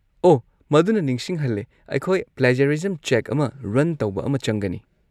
ꯑꯣꯍ! ꯃꯗꯨꯅ ꯅꯤꯡꯁꯤꯡꯍꯜꯂꯦ ꯑꯩꯈꯣꯏ ꯄ꯭ꯂꯦꯖꯔꯤꯖꯝ ꯆꯦꯛ ꯑꯃ ꯔꯟ ꯇꯧꯕ ꯑꯃ ꯆꯪꯒꯅꯤ꯫